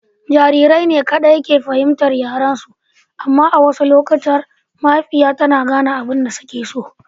Jarirai ne kaɗai ke fahimtar yaren su. Amma a wasu lokuta mahaifiyar tana gane abin da suke so.